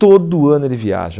Todo ano ele viaja.